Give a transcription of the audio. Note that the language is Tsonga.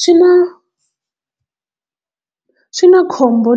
Swi na swi na khombo